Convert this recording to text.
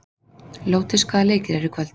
Lótus, hvaða leikir eru í kvöld?